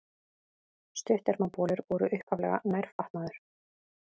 Stuttermabolir voru upphaflega nærfatnaður.